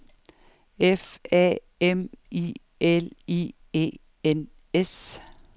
F A M I L I E N S